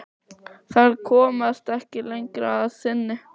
Þær komast ekki lengra að sinni.